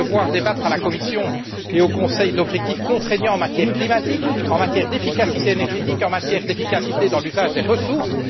Vous allez devoir débattre à la Commission et au Conseil d'objectifs contraignants en matière climatique, en matière d'efficacité énergétique, en matière d'efficacité dans l'usage des ressources.